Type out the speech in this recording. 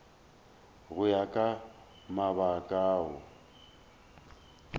go ya ka mabaka ao